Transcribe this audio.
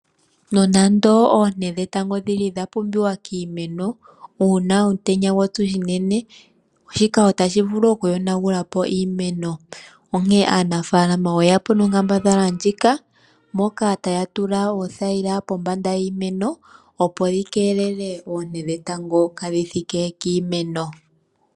Nonando oonte dhetango dhili dha pumbiwa kiimeno uuna omutenya gwa tsu unene, shika otashi vulu okuyonagula po iimeno, onkene aanafaalama oyeya po nonkambadhala ndjika moka taya tula oothayila pombanda yiimeno opo yi keelele oonte dhetango kaadhi thike piimeno.